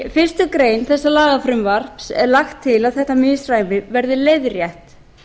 í fyrstu grein þessa lagafrumvarps er lagt til að þetta misræmi verði leiðrétt